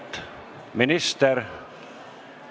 Auväärt minister!